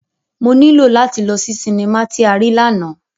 Mo nilo lati lọ si sinima ti a rii làná.